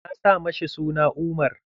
Na sa ma shi suna Umar.